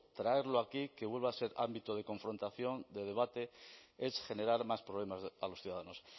traerlo aquí que vuelva a ser ámbito de confrontación de debate es generar más problemas a los ciudadanos